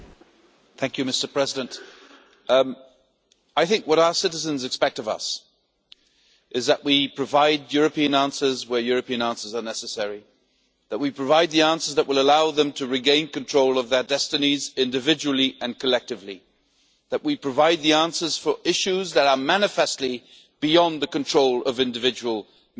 Mr President, what our citizens expect of us is that we provide European answers where European answers are necessary, that we provide the answers that will allow them to regain control of their destinies individually and collectively, that we provide the answers for issues that are manifestly beyond the control of individual Member States.